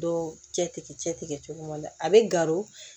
Dɔw cɛ tigɛ cɛ tigɛ cogo ma a bɛ garo